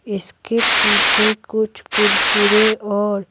इसके पीछे कुछ कुरकुरे और--